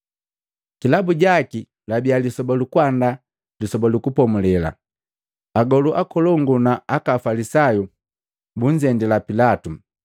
Kilabu jaki, labia lisoba lukuandaa Lisoba lu Kupomulela, Agolu akolongu na aka Afalisayu bunzendila Pilatu,